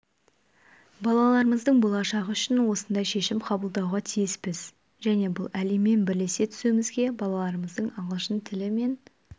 балаларымыздың болашағы үшін осындай шешім қабылдауға тиіспіз және бұл әлеммен бірлесе түсуімізге балаларымыздың ағылшын тілі мен